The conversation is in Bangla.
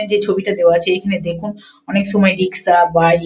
এই ছবিটা দেওয়া আছে এটা দেখুন অনেক সময় রিক্সা বাইক ।